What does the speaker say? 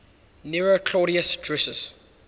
nero claudius drusus